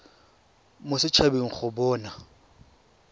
mo set habeng go bona